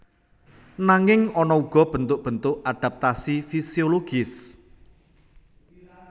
Nanging ana uga bentuk bentuk adaptasi fisiologis